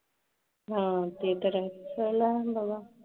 हां, ते तळ वा